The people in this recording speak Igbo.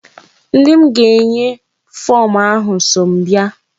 Ndị m ga-enye fom ahụ so m bịa.